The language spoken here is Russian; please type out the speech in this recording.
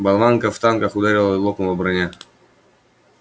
болванка в танках ударила и лопнула броня